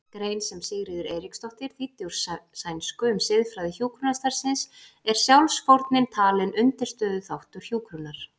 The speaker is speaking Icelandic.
grein sem Sigríður Eiríksdóttir þýddi úr sænsku um siðfræði hjúkrunarstarfsins er sjálfsfórnin talin undirstöðuþáttur hjúkrunar.